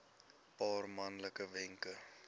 paar maklike wenke